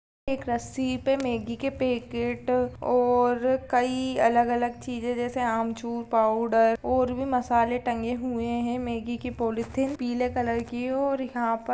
एक रस्सी पे मैगी के पैकेट और कई अलग-अलग चीज़े जैसे अमचूर पाउडर और भी मसाले टंगे हुएं हैं। मैगी की पॉलिथीन पीले कलर की और यहाँ पर --